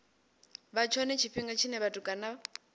vha tshone tshifhinga tshine vhatukana